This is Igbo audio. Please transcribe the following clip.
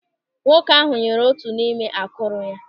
Nwoke ahụ nyere otu n'ime akụrụ ya.